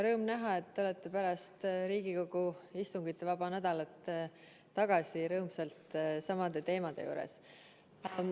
Rõõm näha, et te olete pärast Riigikogu istungivaba nädalat rõõmsalt tagasi samade teemade juures.